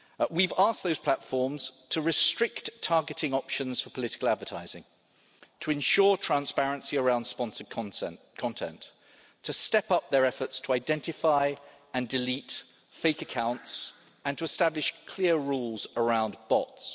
We've asked those platforms to restrict targeting options for political advertising, to ensure transparency around sponsored content, to step up their efforts to identify and delete fake accounts, and to establish clear rules around bots.